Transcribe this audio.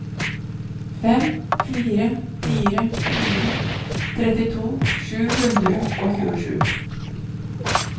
fem fire fire fire trettito sju hundre og tjuesju